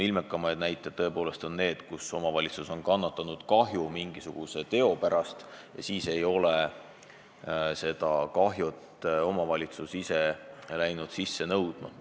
Ilmekamad näited tõepoolest on need, kus omavalitsus on mingisuguse teo pärast kahju kandnud, aga jätnud selle kahju sisse nõudmata.